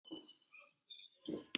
ALLIR AÐ FÁ SÉR PRJÓNA!